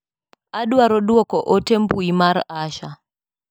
Adwaro duoko ote mbui mar Asha.